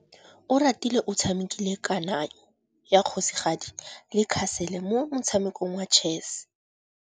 Oratile o tshamekile kananyô ya kgosigadi le khasêlê mo motshamekong wa chess.